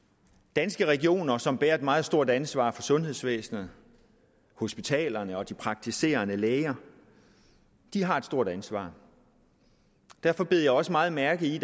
danske regioner som bærer et meget stort ansvar for sundhedsvæsenet hospitalerne og de praktiserende læger har et stort ansvar derfor bed jeg også meget mærke i